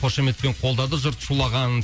қошеметпен қолдады жұрт шулаған